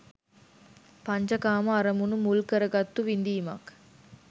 පංච කාම අරමුණු මුල් කරගත්තු විඳීමක්.